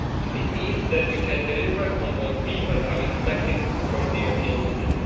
It means that we can deliver on what people are expecting from the European Union.